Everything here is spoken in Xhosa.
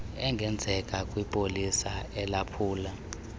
engenzeka kwipolisa elaphula